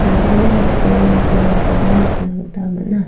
bang·bea dal·dala bolrangkoba nikna gita man·a.